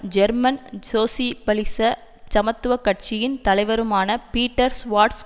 German சோசிபலிச சமத்துவ கட்சியின் தலைவருமான பீட்டர் சுவார்ட்ஸ்